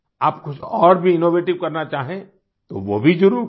आप कुछ और भी इनोवेटिव करना चाहें तो वो भी ज़रूर करें